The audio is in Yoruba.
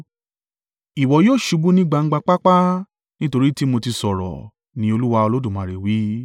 Ìwọ yóò ṣubú ní gbangba pápá, nítorí tì mo ti sọ̀rọ̀, ni Olúwa Olódùmarè wí.